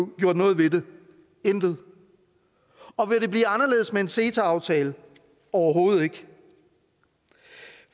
gjort noget ved det intet og vil det blive anderledes med en ceta aftale overhovedet ikke